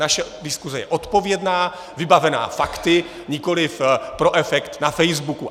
Naše diskuse je odpovědná, vybavená fakty, nikoliv pro efekt na facebooku.